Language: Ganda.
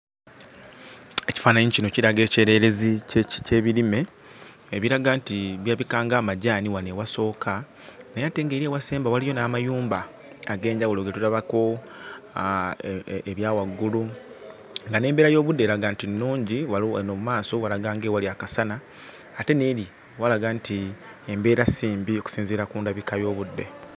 Ekifaananyi kino kiraga ekyererezi ky'eki ky'ebirime ebiraga nti birabika ng'amajaani wano ewasooka naye ate ng'eri ewasemba waliyo n'amayumba ag'enjawulo ge tulabako ah ebya waggulu, nga n'embeera y'obudde eraga nti nnungi. Waliwo wano mu maaso walaga ng'ewali akasana ate n'eri walaga nti embeera si mbi okusinziira ku ndabika y'obudde.